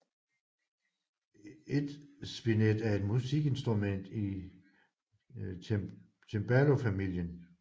Et spinet er et musikinstrument i cembalofamilien